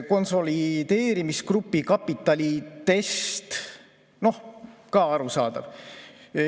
Konsolideerimisgrupi kapitalitest – noh, ka arusaadav.